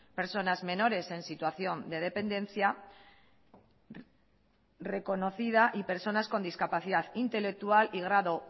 personas menores en situación de dependencia reconocida y personas con discapacidad intelectual y grado